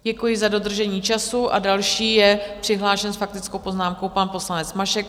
Děkuji za dodržení času a další je přihlášen s faktickou poznámkou pan poslanec Mašek.